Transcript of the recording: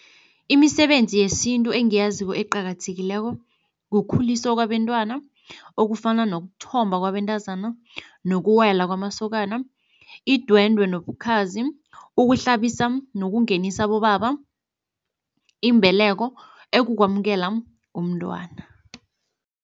Imisebenzi yesintu engiyaziko eqakathekileko kukhuliswa kwabentwana, okufana nokuthomba kwabentazana nokuwela kwamasokana, idwendwe nobukhazi, ukuhlambisa nokungenisa abobaba, imbeleko ekukwamukela umntwana.